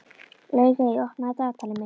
Laugey, opnaðu dagatalið mitt.